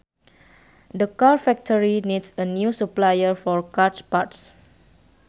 The car factory needs a new supplier for car parts